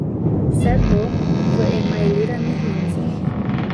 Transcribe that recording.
Vse to v emajliranih loncih.